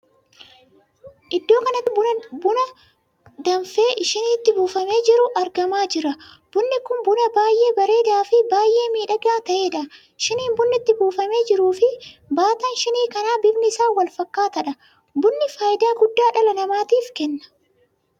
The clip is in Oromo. Iddoo kanatti buna danfee shiniitti buufamee jiru argamaa jira. bunni kun buna baay'ee bareedaa fi baay'ee miidhagaa taheedha. shiniin bunni itti buufamee jiruu fi baataan shinii kanaa bifni isaa wal fakkaatadha. bunni faayidaa guddaa dhala namaatiif Kenna.